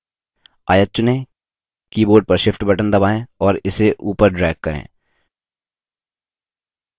आयत चुनें keyboard पर shift बटन दबाएँ और इसे upward drag करें